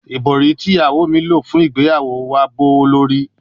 Ibori ti iyawo mi lo fun igbeyawo wa jẹ gbowolori